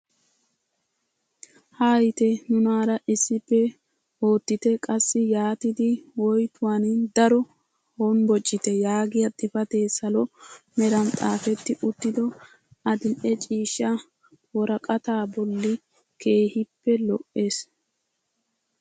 Hayite nunaara issippe oottite qassi yaatidi woytuwaan daro honboccite yagiyaa xifatee salo meran xaafetti uttido adil'e ciishsha woraqataa bolli keehippe lo"ees!